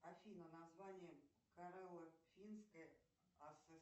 афина название коралло финской